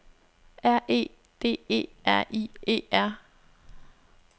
R E D E R I E R